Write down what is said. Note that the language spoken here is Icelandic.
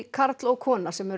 karl og kona sem eru